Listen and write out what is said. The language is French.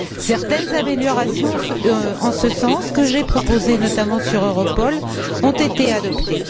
Certaines améliorations en ce sens, que j'ai proposées notamment sur Europol, ont été adoptées.